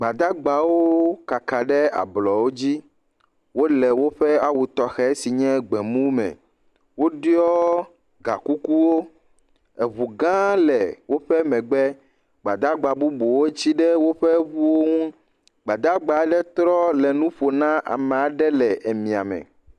Gbadagbawo kaka ɖe ablɔwo dzi, wole woƒe awu tɔxe si nye gbemu me. Woɖiɔ gakukuwo, eŋu gã le woƒe megbe, gbadagba bubuwo tsi ɖe woƒe ŋuwo ŋu, gbadagba aɖe trɔ le nu ƒo na ame aɖe le mia me.